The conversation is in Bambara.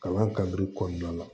Kalan kadiri kɔnɔna la